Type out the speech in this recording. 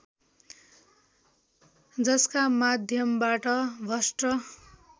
जसका माध्यमबाट भ्रष्ट